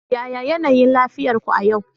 yaya yanayin lafiyar ku a yau